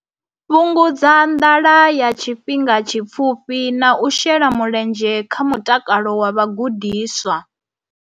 Fhungudza nḓala ya tshifhinga tshipfufhi na u shela mulenzhe kha mutakalo wa vhagudiswa.